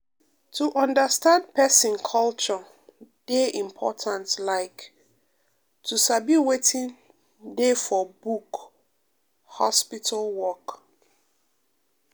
to understand person culture dey important like to sabi wetin dey for book hospital work.